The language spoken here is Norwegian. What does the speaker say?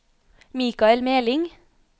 Michael Meling